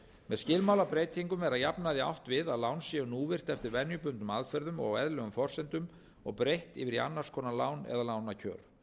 með skilmálabreytingum er að jafnaði átt við að lán séu núvirt eftir venjubundnum aðferðum og á eðlilegum forsendum og breytt yfir í annars konar lán eða